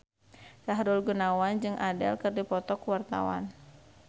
Sahrul Gunawan jeung Adele keur dipoto ku wartawan